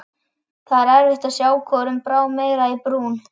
Það var erfitt að sjá hvorum brá meira í brún.